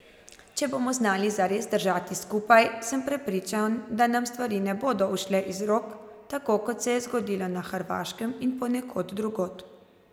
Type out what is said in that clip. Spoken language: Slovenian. Če bomo znali zares držati skupaj, sem prepričan, da nam stvari ne bodo ušle iz rok, tako kot se je zgodilo na Hrvaškem in ponekod drugod.